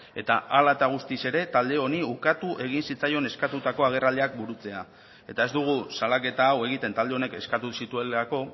eta hala eta guztiz ere talde honi ukatu egin zitzaion eskatutako agerraldiak burutzea eta ez dugu salaketa hau egiten talde honek eskatu zituelako